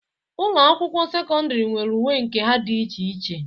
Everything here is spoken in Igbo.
Ụlọ akwụkwọ sekọndịrị nwere uwe nke ha dị iche iche.